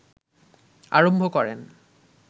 আরম্ভ করেন